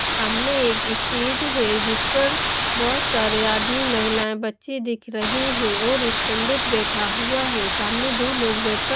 सामने एक स्टेज है जिस पर बहोत सारे आदमी महिलाएं बच्चे दिख रहे हैं और एक पंडित बैठा हुआ है सामने दो लोग बैठकर--